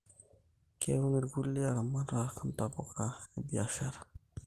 Keun irkulie laramatak ntapuka ebiashara